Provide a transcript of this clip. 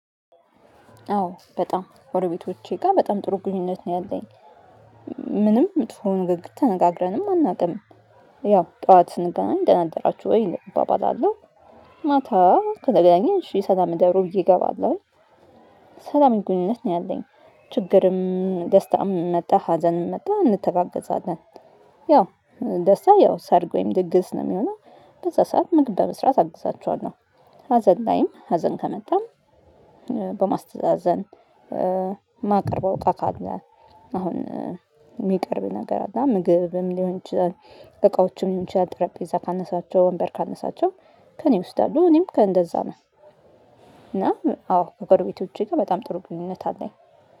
አዎ በጣም ከጎቤቶቼ ጋር በጣም ጥሩ ግንኙነት ነው ያለኝ። ምንም መጥፎ ንግግር ተነጋግረንም አናውቅም። ያው ጠዋት ስንገናኝ ደና አደራችሁ ወይ እባባላለሁ። ማታ ከተገናኘን እሺ ሰላም እደሩ እገባለሁኝ። ሰላም ግንኙነት ነው ያለኝ። ችግርም ደስታም መጣ ሀዘንም መጣ እንተጋገዛለን። ያው ደስታ ያው ሰርግ ወይም ድግስ ነው የሚሆነው። በዛ ሰዓት ምግብ በመስራት አግዛቸኋለሁ። ሀዘን ላይም ሀዘን ከመጣም። በማስተዛዘን። ማቀርበው እቃ ካለ አሁን የሚቀርብ ነገር አለ ምግብም ሊሆን ይችላል። እቃዎችም ይችላል ጠረጴዛ ካነሳቸው ወንበር ካነሳቸው። ከእኔ ይወስዳሉ እኔም ከእንደዛ ነው። እና አዎ ከጎረበቶቼ ጋር በጣም ጥሩ ግንኙነት አለኝ